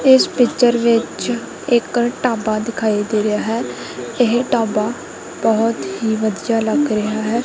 ਇਸ ਪਿੱਚਰ ਵਿੱਚ ਇੱਕ ਢਾਬਾ ਦਿਖਾਈ ਦੇ ਰਿਹਾ ਹੈ ਇਹ ਢਾਬਾ ਬਹੁਤ ਹੀ ਵਧੀਆ ਲੱਗ ਰਿਹਾ ਹੈ।